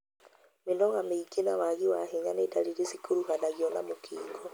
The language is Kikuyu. Mĩnoga mĩingĩ na wagi wa hinya nĩ ndariri cikuruhanagio na mũkingo.